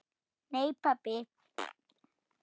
Nei pabbi.